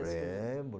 Lembro.